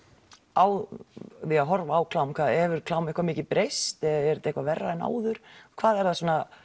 á því að horfa á klám hefur klám eitthvað mikið breyst er þetta eitthvað verra en áður hvað er það